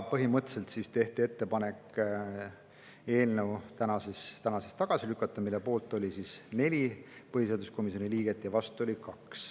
Põhimõtteliselt tehti ettepanek eelnõu täna tagasi lükata, mille poolt oli 4 põhiseaduskomisjoni liiget ja vastu oli 2.